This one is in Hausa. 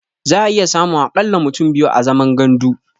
Za'a iya samun a ƙalla mutum biyu a zaman gandu.